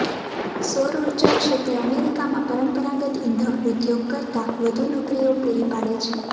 સૌર ઊર્જા ક્ષેત્રે અમેરિકામાં પરંપરાગત ઇંધણ ઉદ્યોગ કરતાં વધુ નોકરીઓ પૂરી પાડે છે